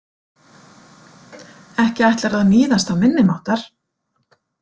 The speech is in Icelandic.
Ekki ætlarðu að níðast á minni máttar?